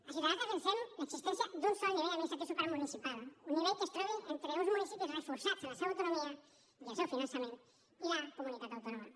a ciutadans defensem l’existència d’un sol nivell administratiu supramunicipal un nivell que es trobi entre uns municipis reforçats en la seva autonomia i el seu finançament i la comunitat autònoma